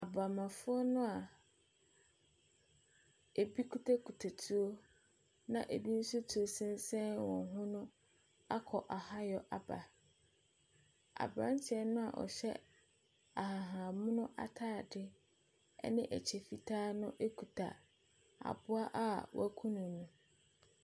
Abammɔfoɔ no a bi kitakita tuo na bi nso tuo sensɛn wɔn ho no akɔ ahayɔ aba. Aberanteɛ no a ɔhyɛ ahabanmono ataadeɛ ne kyɛ fitaa no kita aboa no a wakunu no.